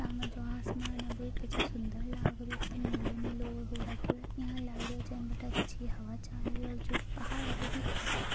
सामने जो आसमान है बहुत सुन्दर लाग रहियो है एक दम निलो हो रखियो है एया लागे बठे अच्छी हवा और जो पहाड़ अभी भी हरा भरा है।